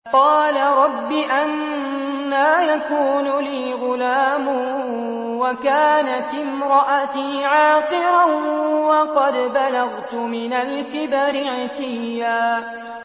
قَالَ رَبِّ أَنَّىٰ يَكُونُ لِي غُلَامٌ وَكَانَتِ امْرَأَتِي عَاقِرًا وَقَدْ بَلَغْتُ مِنَ الْكِبَرِ عِتِيًّا